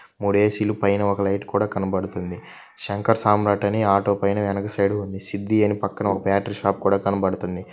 మూడు ఎ_సి లు పైన ఒక లైట్ కూడా కనబడుతుంది. శంకర్ సామ్రాట్ అని ఆటో పైన వెనుక సైడ్ ఉంది సిద్ది అని పక్కన ఒక్క బ్యాటరి షాప్ కూడా కనబడుతుంది.